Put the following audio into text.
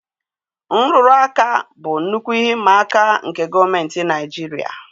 Nrụrụ aka bụ nnukwu ihe ịma aka nke gọọmentị Naijiria